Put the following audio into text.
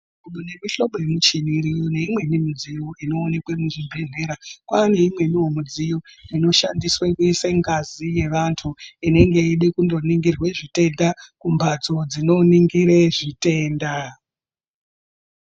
Mune mimhlobo yemichini iriyo neimweni midziyo inowanikwe muzvibhedhlera. Kwane imweniwo midziyo inoshandiswe kuise ngazi yevantu inenge yeide kunoningirwe zvitenda kumbatso dzinoningire zvitenda.